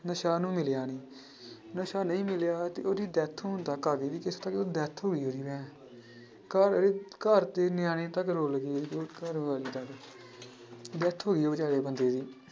ਨਸ਼ਾ ਉਹਨੂੰ ਮਿਲਿਆ ਨੀ ਨਸ਼ਾ ਨਹੀਂ ਮਿਲਿਆ ਤੇ ਉਹਦੀ death ਹੋਣ ਤੱਕ ਆ ਗਈ death ਘਰਵਾਲੀ, ਘਰਦੇ ਨਿਆਣੇ ਤੱਕ ਰੁੱਲ ਗਏ ਘਰਵਾਲੀ ਤੱਕ death ਬੇਚਾਰੇ ਬੰਦੇ ਦੀ।